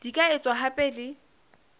di ka etswa hape le